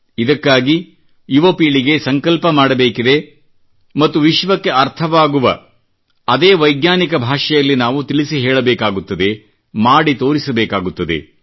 ಇದಕ್ಕಾಗಿ ಯುವ ಪೀಳಿಗೆ ಸಂಕಲ್ಪ ಮಾಡಬೇಕಿದೆ ಮತ್ತು ವಿಶ್ವಕ್ಕೆ ಅರ್ಥವಾಗುವ ಅದೇ ವೈಜ್ಞಾನಿಕ ಭಾಷೆಯಲ್ಲಿ ನಾವು ತಿಳಿಸಿ ಹೇಳಬೇಕಾಗುತ್ತದೆ ಮಾಡಿ ತೋರಿಸಲೇಬೇಕಾಗುತ್ತದೆ